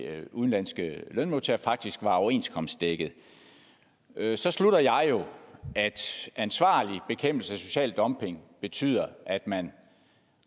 udenlandske lønmodtagere faktisk var overenskomstdækket så slutter jeg jo at ansvarlig bekæmpelse af social dumping betyder at man